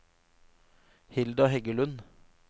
Hilda Heggelund